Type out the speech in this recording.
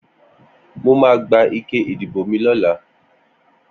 Mó mà gbá iké idibó mi lọ̀là